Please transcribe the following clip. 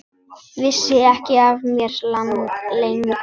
Vissi ekki af mér, lengi.